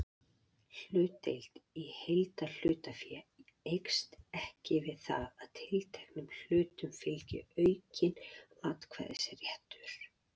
Hlutdeild í heildarhlutafé eykst ekki við það að tilteknum hlutum fylgi aukinn atkvæðisréttur.